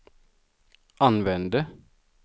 använde